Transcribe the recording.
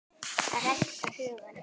AÐ RÆKTA HUGANN